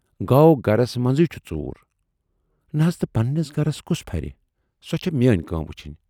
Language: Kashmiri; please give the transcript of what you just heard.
گَو گرس منزٕے چھُ ژوٗر۔ "نہَ حض تہٕ پنہٕ نِس گرس کُس پھرِ۔ سۅ چھے میٲنۍ کٲم وُچھُن۔